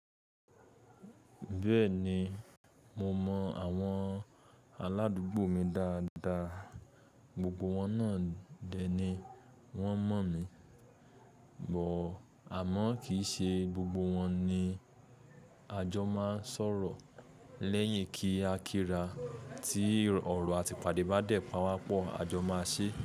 Bẹ́ẹ̀ni mo mọ àwọn aládùúgbò mi dáadáa, gbogbo wọn náà dè ni wọ́n mọ̀ mí, but àmọ́ kì í ṣe gbogbo wọn ni a jọ máa ń sọ̀rọ̀ lẹ́yìn kí á kíra tí ọ̀rọ̀ àti ìpàdé bá dẹ̀ pa wá pọ̀, a jọ máa ṣé.